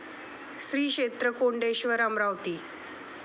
श्री क्षेत्र कोंडेश्वर अमरावती